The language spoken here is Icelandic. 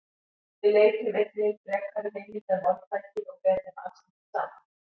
Við leituðum einnig frekari heimilda um orðtækið og ber þeim alls ekki saman.